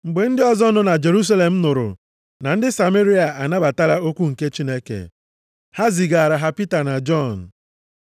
Mgbe ndị ozi nọ na Jerusalem nụrụ na ndị Sameria anabatala okwu nke Chineke, ha zigaara ha Pita na Jọn.